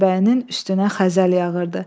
Meşəbəyinin üstünə xəzəl yağırdı.